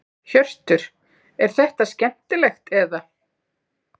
Hjörtur: Er þetta skemmtilegt eða?